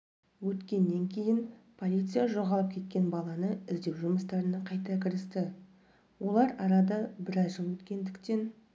өткеннен кейін полиция жоғалып кеткен баланы іздеу жұмыстарына қайта кірісті олар арада біраз жыл өткендіктен